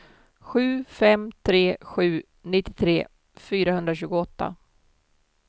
sju fem tre sju nittiotre fyrahundratjugoåtta